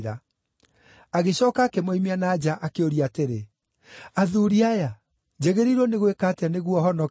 Agĩcooka akĩmoimia na nja, akĩũria atĩrĩ, “Athuuri aya, njagĩrĩirwo nĩ gwĩka atĩa nĩguo honoke?”